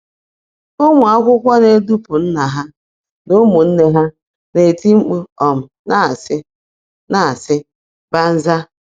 Ụmụ akwụkwọ na-edupụ nna ha na ụmụnne ha, na - eti mkpu um na-asị, na-asị, banzai!”